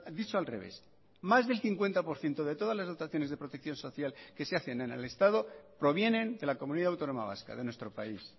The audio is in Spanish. dicho al revés más del cincuenta por ciento de todas las dotaciones de protección social que se hacen en el estado provienen de la comunidad autónoma vasca de nuestro país